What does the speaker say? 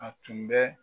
A tun bɛ